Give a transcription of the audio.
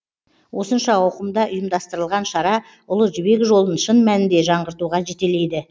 осынша ауқымда ұйымдастырылған шара ұлы жібек жолын шын мәнінде жаңғыртуға жетелейді